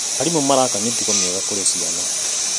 Arimũ maraka mĩtugo mĩega kũrĩ ciana.